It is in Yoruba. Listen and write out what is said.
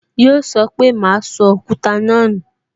Yọ sọ pé "Ma sọ Òkúta náà nu